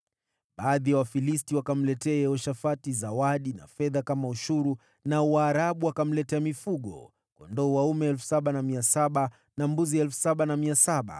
Baadhi ya Wafilisti wakamletea Yehoshafati zawadi na fedha kama ushuru, nao Waarabu wakamletea mifugo: kondoo dume 7,700 na mbuzi 7,700.